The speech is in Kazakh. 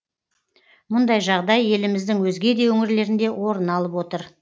мұндай жағдай еліміздің өзге де өңірлерінде орын алып отыр